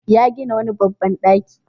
Ya gina wani babban ɗaki.